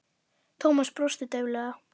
Thomas brosti dauflega.